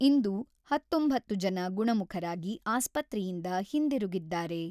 ಇಂದು ಹತೊಂಬತ್ತು ಜನ ಗುಣಮುಖರಾಗಿ ಆಸ್ಪತ್ರೆಯಿಂದ ಹಿಂದಿರುಗಿದ್ದಾರೆ.